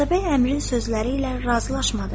Atabəy Əmrin sözləri ilə razılaşmadı.